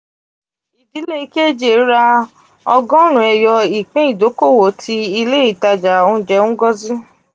ìdílé kj ra ọgọrun eyo ipin idokowo ti ile itaja ounjẹ ngozi.